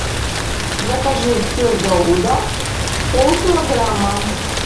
закажи сыр гауда пол килограмма